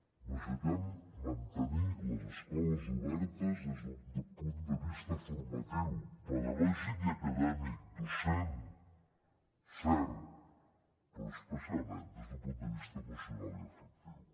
necessitem mantenir les escoles obertes des del punt de vista formatiu pedagògic i acadèmic docent cert però especialment des d’un punt de vista emocional i afectiu